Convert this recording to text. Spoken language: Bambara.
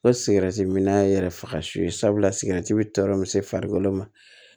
O sigɛrɛti mina yɛrɛ faga son ye sabula sigɛrɛti bi tɔɔrɔ se farikolo ma